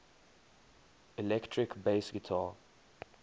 electric bass guitar